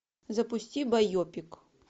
запусти байопик